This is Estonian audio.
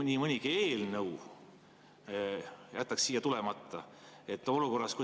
Nii mõnigi eelnõu siia mitte tulla.